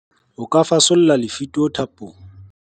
O ka fasolla lefito thapong.